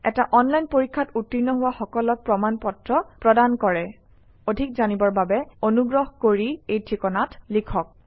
এটা অনলাইন পৰীক্ষাত উত্তীৰ্ণ হোৱা সকলক প্ৰমাণ পত্ৰ প্ৰদান কৰে অধিক জানিবৰ বাবে অনুগ্ৰহ কৰি contactspoken tutorialorg - এই ঠিকনাত লিখক